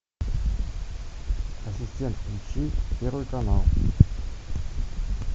ассистент включи первый канал